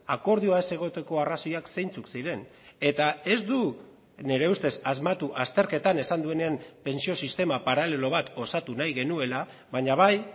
akordioa ez egoteko arrazoiak zeintzuk ziren eta ez du nire ustez asmatu azterketan esan duenean pentsio sistema paralelo bat osatu nahi genuela baina bai